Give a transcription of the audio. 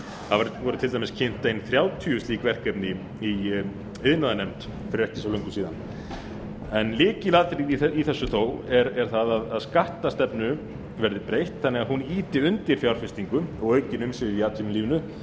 það voru til dæmis kynnt ein þrjátíu slík verkefni í iðnaðarnefnd fyrir ekki svo löngu síðan en lykilatriðið í þessu þó er það að skattastefnu verði breytt þannig að hún ýti undir fjárfestingu og aukin umsvif í atvinnulífinu